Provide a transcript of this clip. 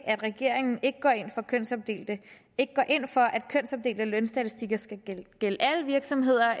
at regeringen ikke går ind for at kønsopdelte lønstatistikker skal gælde alle virksomheder